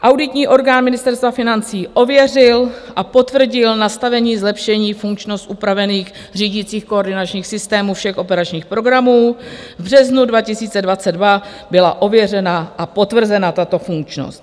Auditní orgán Ministerstva financí ověřil a potvrdil nastavení zlepšení funkčnosti upravených řídicích koordinačních systémů všech operačních programů, v březnu 2022 byla ověřena a potvrzena tato funkčnost.